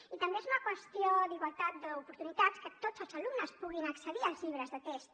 i també és una qüestió d’igualtat d’oportunitats que tots els alumnes puguin accedir als llibres de text